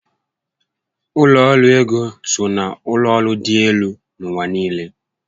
Ụlọ ọrụ ego so na ụlọ ọrụ dị élú n'ụwa niile